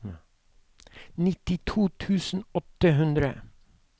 nittito tusen og åtte hundre